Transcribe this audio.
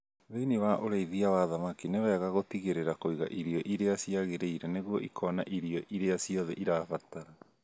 Thĩni wa ũrĩithia wa thamaki nĩ wega gũtigĩrĩra kũiga irio iria ciagĩrĩire nĩguo ikona irio iria ciothe irabatara